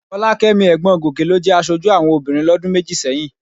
Fọlákẹ́mi ẹ̀gbọ́n Gòkè ló jẹ aṣojú àwọn obìnrin lọ́dún méjì sẹ́yìn